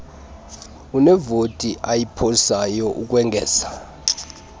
unevoti ayiphosayo ukwengeza